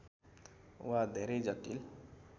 वा धेरै जटिल